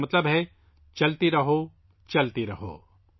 اس کا مطلب ہے چلتے رہو، چلتے رہو